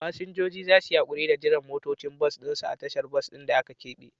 Fasinjoji za su yi haƙuri da jiran motocin bas ɗin su a tashar bas ɗin da aka keɓe.